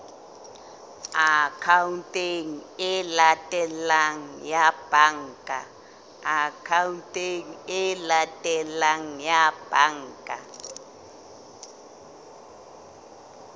akhaonteng e latelang ya banka